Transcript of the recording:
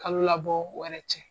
Kalo labɔ wɛrɛ cɛ.